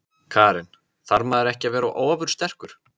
Karen: Þarf maður ekki að vera ofursterkur?